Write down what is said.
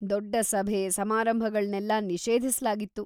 ದೊಡ್ಡ ಸಭೆ ಸಮಾರಂಭಗಳ್ನೆಲ್ಲ ನಿಷೇಧಿಸ್ಲಾಗಿತ್ತು.